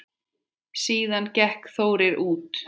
Síðan gekk Þórir út.